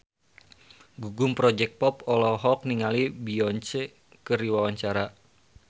Gugum Project Pop olohok ningali Beyonce keur diwawancara